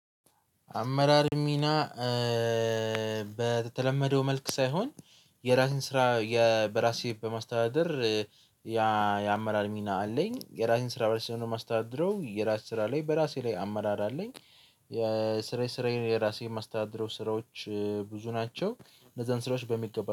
አመራር ሚና በተለመደው መልክ ሳይሆን የራሴን ስራ በራሴ በማስተዳደር። ያ የአመራር ሚና አለኝ የራሴን ስራ በራሴ ነው የማስተዳድረው የራሴ ስራ ላይ በራሴ ላይ አመራር አለኝ። የስራዬ ስራዬን የራሴ የማስተዳደረው ስራዎች ብዙ ናቸው እንደዛን ስራዎች በሚገባ